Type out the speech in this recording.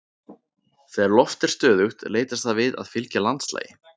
Þegar loft er stöðugt leitast það við að fylgja landslagi.